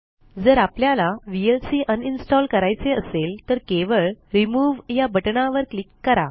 जर आपल्याला VLC uninstall करायचे असेल तर केवळ Removeया बटणावर क्लिक करा